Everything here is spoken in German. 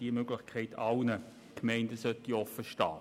Diese Möglichkeit soll allen Gemeinden offenstehen.